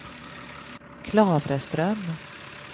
Klavreström